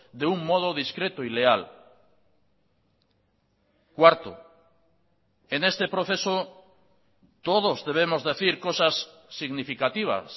de un modo discreto y leal cuarto en este proceso todos debemos decir cosas significativas